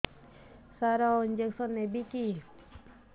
ସାର injection ନେବିକି